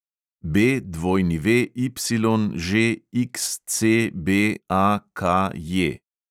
BWYŽXCBAKJ